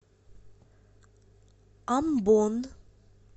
амбон